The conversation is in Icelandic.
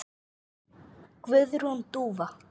Guðrún Dúfa.